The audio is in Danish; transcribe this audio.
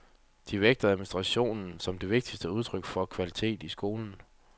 De vægter administration som det vigtigste udtryk for kvalitet i skolen.